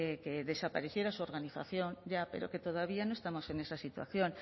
que desapareciera su organización ya pero que todavía no estamos en esa situación